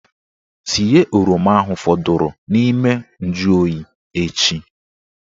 Tinye oroma ahụ fọdụrụ n'ime njuoyi echi!